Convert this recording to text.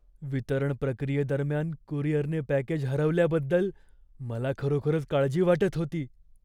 वितरण प्रक्रियेदरम्यान कुरिअरने पॅकेज हरवल्याबद्दल मला खरोखरच काळजी वाटत होती.